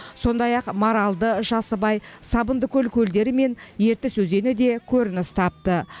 сондай ақ маралды жасыбай сабындыкөл көлдері мен ертіс өзені де көрініс тапты